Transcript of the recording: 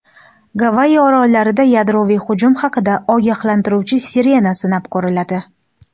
Gavayi orollarida yadroviy hujum haqida ogohlantiruvchi sirena sinab ko‘riladi.